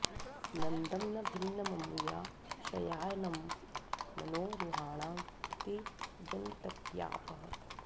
न॒दं न भि॒न्नम॑मु॒या शया॑नं॒ मनो॒ रुहा॑णा॒ अति॑ य॒न्त्यापः॑